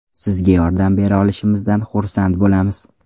Sizga yordam bera olishimizdan xursand bo‘lamiz.